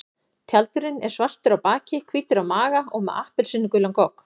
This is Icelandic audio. Tjaldurinn er svartur á baki, hvítur á maga og með appelsínugulan gogg.